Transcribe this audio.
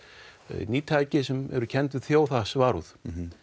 ný tæki sem eru kennd við þjóðhagsvarúð